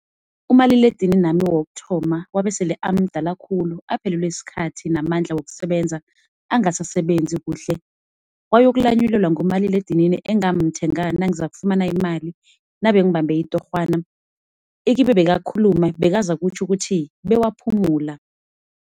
Umaliledinini wami wokuthoma wabesele amdala khulu aphelelwe sikhathi namandla wokusebenza, angasasebenzi kuhle. Wayokulanyilelwa ngumaliledinini engamthenga nangifumana imali nabengibambe itorhwana. Ikibe bekakhuluma, bekazakutjho bona bewaphumula.